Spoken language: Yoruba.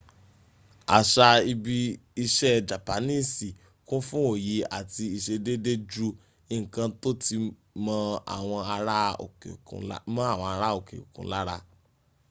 aṣa ibi iṣẹ japanisi kun fu oye ati iṣedeede ju nkan to ti mọ awọn ara oke okun lar